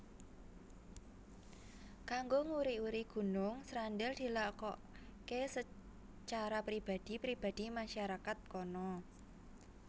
Kanggo nguri uri Gunung Srandil dilakoké secara pribadi pribadi masyarakat kono